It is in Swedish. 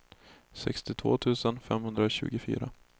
sextiotvå tusen femhundratjugofyra